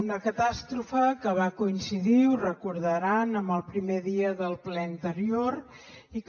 una catàstrofe que va coincidir ho deuen recordar amb el primer dia del ple anterior i que